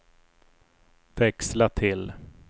växla till